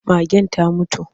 Magen ta mutu.